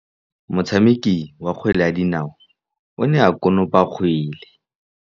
Motshameki wa kgwele ya dinaô o ne a konopa kgwele.